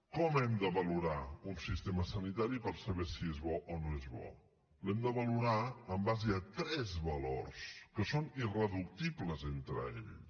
com hem de valorar un sistema sanitari per saber si és bo o no és bo l’hem de valorar en base a tres valors que són irreductibles entre ells